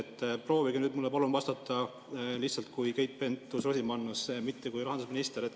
Palun proovige mulle vastata lihtsalt kui Keit Pentus-Rosimannus, mitte kui rahandusminister.